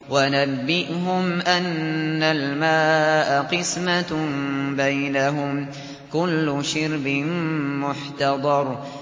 وَنَبِّئْهُمْ أَنَّ الْمَاءَ قِسْمَةٌ بَيْنَهُمْ ۖ كُلُّ شِرْبٍ مُّحْتَضَرٌ